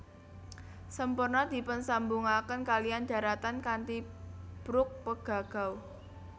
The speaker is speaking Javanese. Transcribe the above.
Semporna dipunsambungaken kaliyan dharatan kanthi brug Pegagau